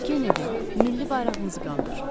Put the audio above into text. Kennedy, milli bayrağımızı qaldır.